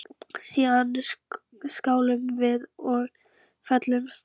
Síðan skáluðum við og féllumst í faðma.